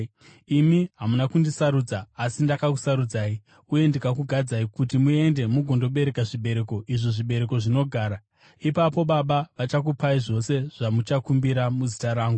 Imi hamuna kundisarudza, asi ndakakusarudzai uye ndikakugadzai kuti muende mugondobereka zvibereko, izvo zvibereko zvinogara. Ipapo Baba vachakupai zvose zvamuchakumbira muzita rangu.